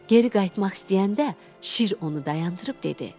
Geri qayıtmaq istəyəndə Şir onu dayandırıb dedi.